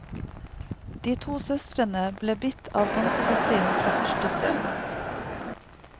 De to søstrene ble bitt av dansebasillen fra første stund.